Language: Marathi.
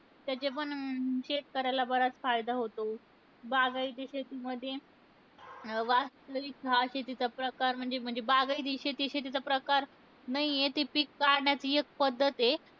त्याचा पण शेतकऱ्याला बराच फायदा होतो. बागायती शेतीमध्ये अं वास्तविक हा शेतीचा प्रकार म्हणजे म्हणजे बागायती शेती, शेतीचा प्रकार नाहीय. ते पिक पाण्याची एक पद्धत आहे.